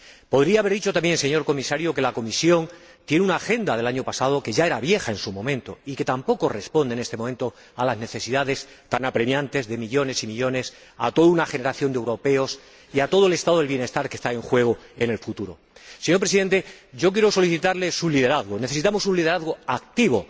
Podría haber dicho también, señor Presidente, que la Comisión tiene una agenda del año pasado, que ya era vieja en su momento y que tampoco responde en este momento a las necesidades tan apremiantes de millones y millones de ciudadanos, de toda una generación de europeos y de todo el estado del bienestar cuyo futuro está en juego. Señor Presidente, quiero solicitarle su liderazgo necesitamos un liderazgo activo,